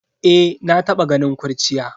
Eh, na taba ganin kurciya.